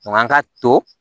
Nka an ka to